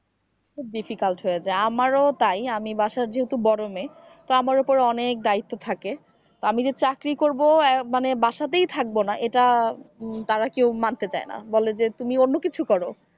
খুব difficult হয়ে যায় আমারও তাই আমি বাসার যেহেতু বড় মেয়ে তো আমার উপর অনেক দায়িত্ব থাকে তো আমি যে চাকরি করব মানে বাসাতেই থাকবো না এটা তারা কেউ মানতে চায় না বলে যে তুমি অন্য কিছু করো।